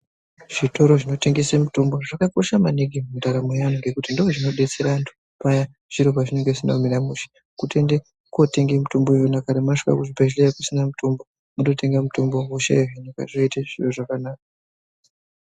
Zvitoro zvinotengese mitombo zvakakosha naningi mundaramo yeanthu ngokuti ndozvinodetsera anthu paya zviro pazvinenge zvisina kumira mushe. Kutoende kotenga mitombo iyona kana masvika kuchibhedhleya kusina mitombo mototenga mutombo wehosha iyo zvotoita zvakanaka.